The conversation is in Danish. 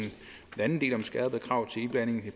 anden del om skærpede krav til iblanding